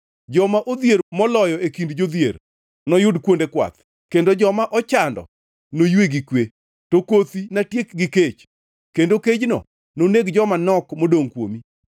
Joma odhier moloyo e kind jodhier noyud kuonde kwath kendo joma ochando noywe gi kwe. To kothi natiek gi kech, kendo kejno noneg joma nok modongʼ kuomi.